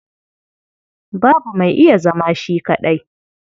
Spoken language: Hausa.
Babu mai iya zama shi kaɗai.